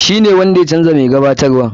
Shi ne wanda ya canja mai gabatarwan.